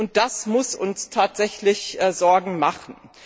Und das muss uns tatsächlich Sorgen machen.